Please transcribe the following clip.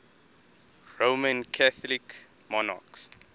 roman catholic monarchs